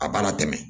A b'a la tɛmɛ